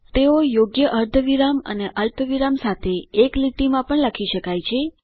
તેઓ યોગ્ય અર્ધવિરામ અને અલ્પવિરામ સાથે એક લીટી માં પણ લખી શકાય છે